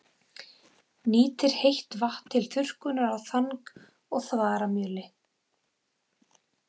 Nýtir heitt vatn til þurrkunar á þang- og þaramjöli.